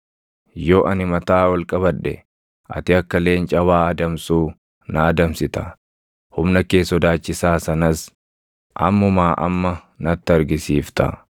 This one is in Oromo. Yoo ani mataa ol qabadhe ati akka leenca waa adamsuu na adamsita; humna kee sodaachisaa sanas ammumaa amma natti argisiifta.